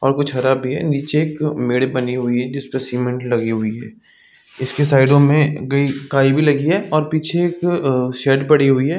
और कुछ हरा भी है निचे एक मेड बनी हुई है जिसमे सीमेंट बनी हुई है इसके साइडों में कई काई लगी है और पीछे एक शेड पड़ी हुई है।